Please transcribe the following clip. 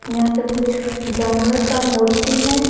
यहां पे कुछ जानवर का मूर्ती है।